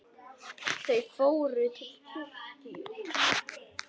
Þau fór til kirkju.